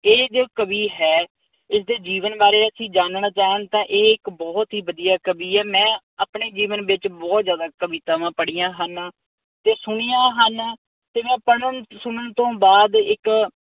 ਇਹ ਜੋ ਕਵੀ ਹੈ, ਇਸਦੇ ਜੀਵਨ ਬਾਰੇ ਅਸੀਂ ਜਾਨਣ ਜਾਣ ਤਾਂ ਇਹ ਇੱਕ ਬਹੁਤ ਹੀ ਵਧੀਆ ਕਵੀ ਐ। ਮੈਂ ਆਪਣੇ ਜੀਵਨ ਵਿਚ ਬਹੁਤ ਜ਼ਿਆਦਾ ਕਵਿਤਾਵਾਂ ਪੜੀਆਂ ਹਨ ਤੇ ਸੁਣੀਆਂ ਹਨ ਤੇ ਮੈਂ ਪੜਨ, ਸੁਨਣ ਤੋਂ ਬਾਅਦ ਇੱਕ